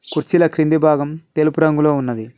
కుర్చీల కింది భాగం తెలుపు రంగులో ఉన్నది.